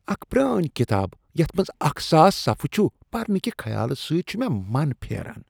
اکھ پرٲنۍ کتاب یتھ منٛز اکھ ساس صفحہٕ چھ، پرنہٕ کہ خیالہٕ سۭتۍ چھ مےٚ من پھیران